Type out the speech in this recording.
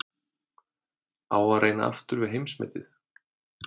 Á að reyna aftur við heimsmetið?